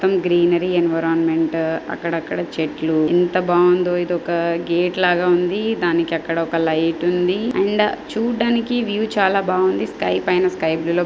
మొత్తం greenery environment అక్కడక్కడ చెట్లు ఎంత బావుందో ఇది ఒక గేట్ లాగా ఉంది దానికి అక్కడ ఒక లైట్ ఉంది అండ్ చూడడానికి వ్యూ చాలా బాగుంది స్కై పైన స్కై బ్లు --